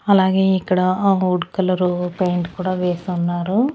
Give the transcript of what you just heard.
అలాగే ఇక్కడ ఆ వుడ్ కలరు పెయింట్ కూడా వేసి ఉన్నారు.